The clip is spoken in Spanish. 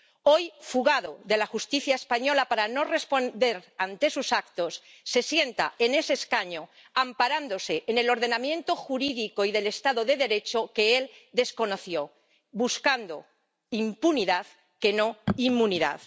Hoy, fugado de la Justicia española para no responder ante sus actos, se sienta en ese escaño, amparándose en el ordenamiento jurídico y del estado de Derecho que él desconoció, buscando impunidad, que no inmunidad.